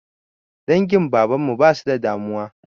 Dangin baban mu ba su da damuwa.